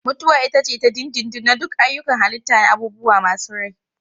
Mutuwa ita ce ta dindindin na duk ayyukan halitta na abubuwa masu rai.